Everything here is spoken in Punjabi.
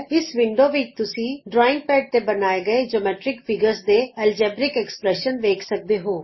ਇਸ ਵਿੰਡੋ ਵਿਚ ਤੁਸੀਂ ਡਰਾਇੰਗ ਪੈਡ ਤੇ ਬਣਾਏ ਗਏ ਸਾਰੇ ਜਿਓਮੈਟਰਿਕ ਅਕਾਰਾਂ ਦੇ ਬੀਜ ਗਣਿਤ ਸਮੀਕਰਨ ਵੇਖ ਸਕਦੇ ਹੋ